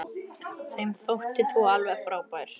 Þeim þótti þú alveg frábær.